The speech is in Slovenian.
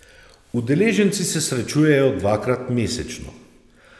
Udeleženci se srečujejo dvakrat mesečno.